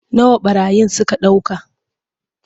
Nawa ɓarayin suka ɗauka.